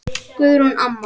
Guðrún amma.